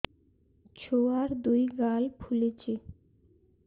ଛୁଆର୍ ଦୁଇ ଗାଲ ଫୁଲିଚି